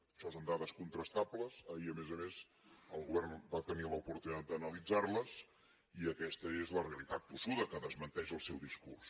això són dades contrastables ahir a més a més el govern va tenir l’oportunitat d’analitzar les i aquesta és la realitat tossuda que desmenteix el seu discurs